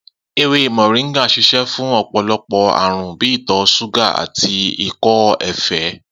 Ewé mò̩ríngà ń s̩ís̩é̩ fún ò̩pò̩lo̩pò̩ àrùn bí i ìtò̩ s̩úgà àti ikó̩ efee